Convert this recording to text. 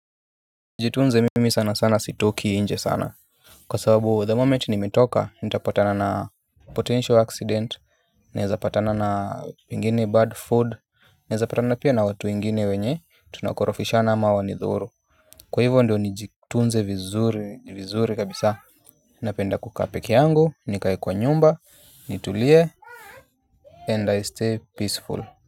Nijitunze mimi sana sana sitoki nje sana. Kwa sababu the moment nimetoka nitapatana na potential accident. Nezapatana na ingine bad food. Naezapatana pia na watu wengine wenye tunakorofishana ama wanidhuru. Kwa hivyo ndio nijitunze vizuri vizuri kabisa. Napenda kukaa peke yangu nikae kwa nyumba nitulie and I stay peaceful.